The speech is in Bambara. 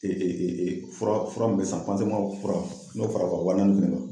fura fura mun be san fura n'o fara ka wa naani kan